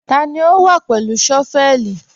Tani o wá pẹ̀lú shọ́vẹ̀lì?